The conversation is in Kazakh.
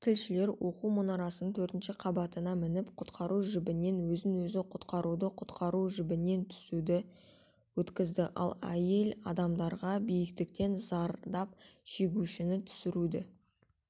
тілшілер оқу мұнарасының төртінші қабатына мініп құтқару жібінен өзін-өзі құтқаруды құтқару жібінен түсуді өткізді ал әйел адамдарға биіктіктен зардап шегушіні түсіруді